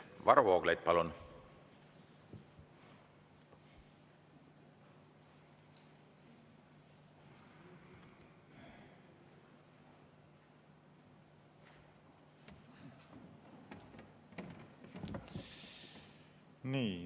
Varro Vooglaid, palun!